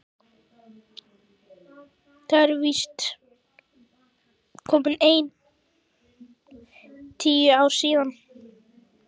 Það eru víst komin ein tíu ár síðan.